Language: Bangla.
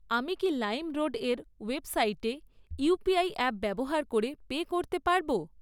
আমি কি লাইমরোডের ওয়েবসাইটে ইউপিআই অ্যাপ ব্যবহার করে পে করতে পারব?